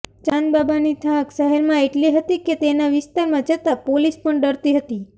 ચાંદબાબાની ધાક શહેરમાં એટલી હતી કે તેના વિસ્તારમાં જતાં પોલીસ પણ ડરતી હતી